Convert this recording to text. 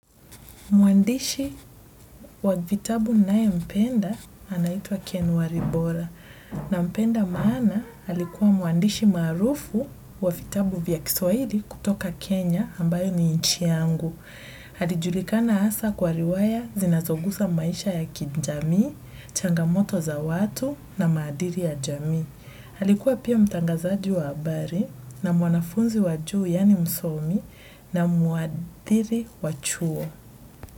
Mwandishi wa vitabu ninaempenda anaitwa Ken waribora nampenda maana alikuwa mwandishi maarufu wa vitabu vya Kiswahili kutoka Kenya ambayo ni inchi yangu. Alijulikana hasa kwa riwaya zinazogusa maisha ya kijamii, changamoto za watu na maadili ya jamii. Alikuwa pia mtangazaji wa habari na mwanafunzi wa juu yaani msomi na muadili wa chuo.